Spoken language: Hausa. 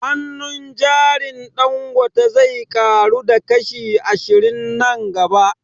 Hannun jarin Dangote zai ƙaru da kashi ashirin nan gaba